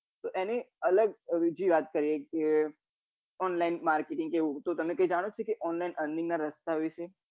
તો એની અલગ બીજી વાત કરીએ કે online marketing કેવું તો તમે કઈ જાણો છો કે online earning ના રસ્તા વિશે